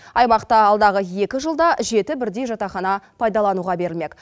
аймақта алдағы екі жылда жеті бірдей жатақхана пайдалануға берілмек